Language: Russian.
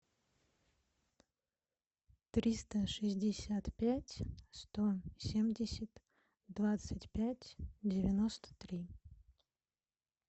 триста шестьдесят пять сто семьдесят двадцать пять девяносто три